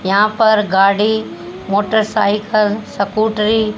यहां पर गाड़ी मोटरसाइकिल सकुटी --